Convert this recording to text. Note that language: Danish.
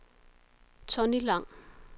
Tonni Lang